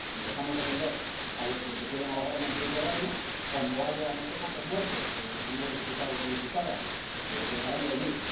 Si dejamos de atender a los que se pueden ahogar en el Mediterráneo, cuando haya no sé cuántos muertos, señores diputados y diputadas, dejarán de venir.